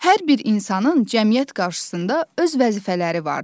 Hər bir insanın cəmiyyət qarşısında öz vəzifələri vardır.